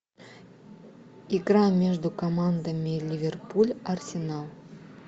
игра между командами ливерпуль арсенал